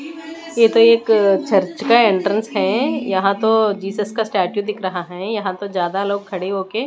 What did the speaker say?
ये तो एक चर्च का एंट्रेंस है यहां तो जीसस का स्टैचू दिख रहा है यहां तो ज्यादा लोग खड़े होके--